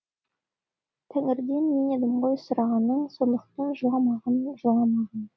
тәңірден мен едім ғой сұрағаның сондықтан жыламағын жыламағын